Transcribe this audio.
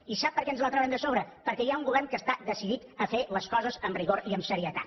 i sap per què ens la traurem de sobre perquè hi ha un govern que està decidit a fer les coses amb rigor i amb serietat